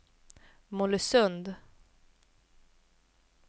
Mollösund